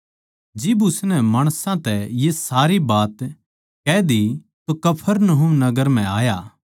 जिब उसनै माणसां तै ये सारी बात कह दी तो कफरनहूम नगर म्ह आया